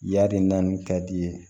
Yari naani ka di i ye